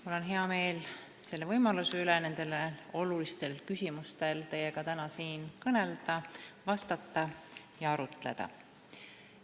Mul on hea meel, et mul on täna võimalus teiega siin olulistest küsimustest kõnelda, neile vastata ja nende üle arutleda.